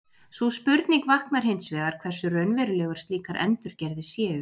Sú spurning vaknar hins vegar hversu raunverulegar slíkar endurgerðir séu.